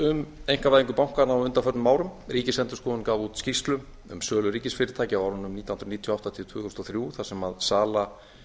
um einkavæðingu bankanna á undanförnum árum ríkisendurskoðun gaf út skýrslu um sölu ríkisfyrirtækja á árunum nítján hundruð níutíu og átta til tvö þúsund og þrjú þar sem sala